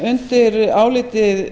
en undir álitið